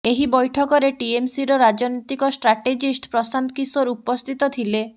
ଏହି ବୈଠକରେ ଟିଏମସିର ରାଜନୀତିକ ଷ୍ଟ୍ରାଟେଜିଷ୍ଟ ପ୍ରଶାନ୍ତ କିଶୋର ଉପସ୍ଥିତ ଥିଲେ